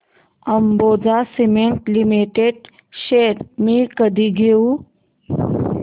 Ambuja cement limited shares मी कधी घेऊ